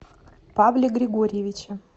павле григорьевиче